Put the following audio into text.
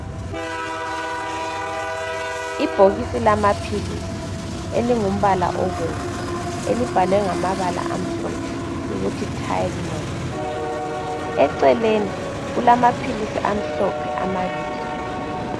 Ibhokisi lamapilisi elingumbala obomvu elibhalwe ngamabala amhlophe ukuthi 'Tylenol'. Eceleni kulamapilisi amhlophe amabili..